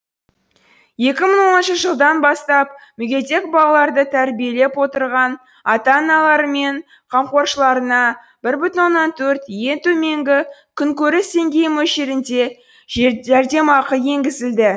екі мың оныншы жылдан бастап мүгедек балаларды тәрбиелеп отырған ата аналары мен қамқоршыларына бір бүтін оннан төрт ең төменгі күнкөріс деңгейі мөлшерінде жәрдемақы енгізілді